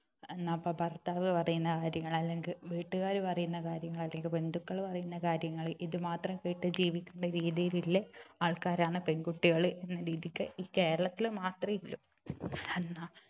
എന്നാപ്പോ ഭർത്താവു പറയുന്ന കാര്യങ്ങൾ അല്ലെങ്കിൽ വീട്ടുകാര് പറയുന്ന കാര്യങ്ങൾ അല്ലെങ്കിൽ ബന്ധുക്കൾ പറയുന്ന കാര്യങ്ങൾ ഇത് മാത്രം കേട്ട് ജീവിക്കേണ്ട രീതിയിലുള്ള ആൾക്കാരാണ് പെൺകുട്ടികൾ എന്ന രീതിക്ക് ഈ കേരളത്തിൽ മാത്രമേ ഉള്ളൂ എന്നാ